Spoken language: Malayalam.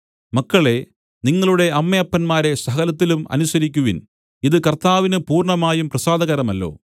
മക്കളേ നിങ്ങളുടെ അമ്മയപ്പന്മാരെ സകലത്തിലും അനുസരിക്കുവിൻ ഇത് കർത്താവിന് പൂർണ്ണമായും പ്രസാദകരമല്ലോ